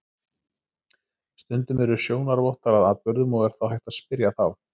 Stundum eru sjónarvottar að atburðum og er þá hægt að spyrja þá.